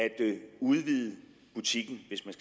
udvide butikken hvis man